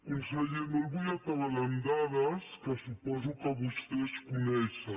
conseller no el vull atabalar amb dades que suposo que vostès coneixen